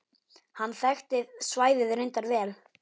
Hann þekkti svæðið reyndar vel.